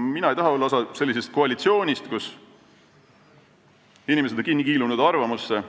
Mina ei taha olla osa sellisest koalitsioonist, kus inimesed on oma arvamusse kinni kiilunud